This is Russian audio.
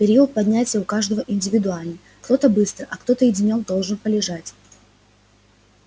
период поднятия у каждого индивидуальный кто-то быстро а кто-то и денёк должен полежать